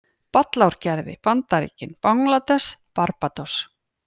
Ballarárgerði, Bandaríkin, Bangladess, Barbados